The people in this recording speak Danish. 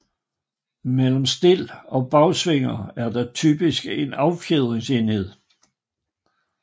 Mellem stel og bagsvinger er der typisk en affjedringsenhed